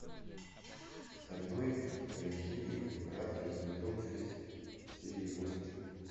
стальной алхимик братство сезон шесть серия восемь